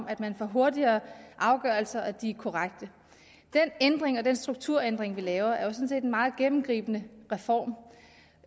at man får hurtigere afgørelser og at de er korrekte den ændring og den strukturændring vi laver er jo sådan set en meget gennemgribende reform